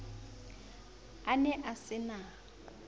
a ne a se na